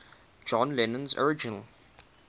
john lennon's original